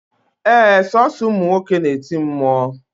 Ee, Sọọsọ ụmụ nwoke na-eti mmụọ